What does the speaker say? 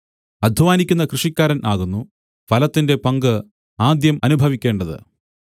അദ്ധ്വാനിക്കുന്ന കൃഷിക്കാരൻ ആകുന്നു ഫലത്തിന്റെ പങ്ക് ആദ്യം അനുഭവിക്കേണ്ടത്